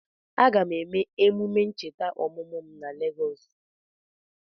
Aga m eme emume ncheta ọmụmụ m na Legọs